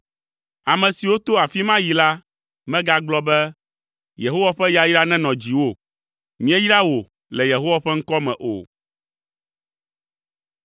Ame siwo to afi ma yi la megagblɔ be, “Yehowa ƒe yayra nenɔ dziwò; míeyra wò le Yehowa ƒe ŋkɔ me” o.